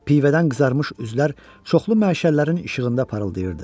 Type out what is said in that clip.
Pivədən qızarmış üzlər çoxlu məşəllərin işığında parıldayırdı.